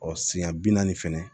Ɔ siɲɛ bi naani fɛnɛ